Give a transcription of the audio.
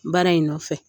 Baara in nɔfɛ